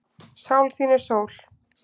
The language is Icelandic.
Sál þín er sól.